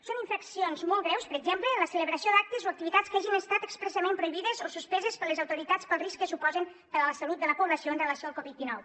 són infraccions molt greus per exemple la celebració d’actes o activitats que hagin estat expressament prohibides o suspeses per les autoritats pel risc que suposen per a la salut de la població amb relació al covid dinou